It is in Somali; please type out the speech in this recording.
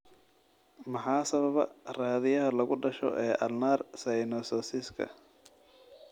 Maxaa sababa raadiyaha lagu dhasho ee ulnar synososiska?